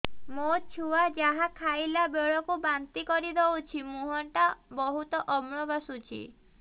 ମୋ ଛୁଆ ଯାହା ଖାଇଲା ବେଳକୁ ବାନ୍ତି କରିଦଉଛି ମୁହଁ ଟା ବହୁତ ଅମ୍ଳ ବାସୁଛି